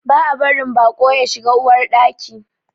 Ba a barin baƙo ya shiga Uwar Ɗaki.